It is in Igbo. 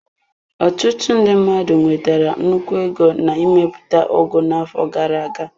Ọtụtụ ndị mmadụ nwetara nnukwu ego na mmepụta ugu n'afọ gara aga.